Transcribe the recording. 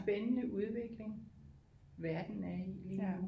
Spændende udvikling verden er i lige nu